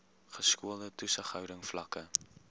geskoolde toesighouding vlakke